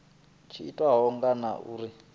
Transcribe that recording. tshi itiwa ngaho na uri